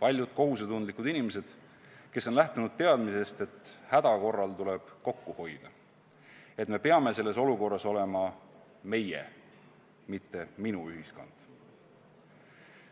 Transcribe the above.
paljud teised kohusetundlikud inimesed, kes on lähtunud teadmisest, et häda korral tuleb kokku hoida, et me peame selles olukorras olema meie, mitte minu ühiskond.